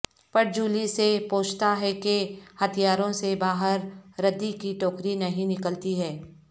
پٹ Jolie سے پوچھتا ہے کہ ہتھیاروں سے باہر ردی کی ٹوکری نہیں نکلتی ہے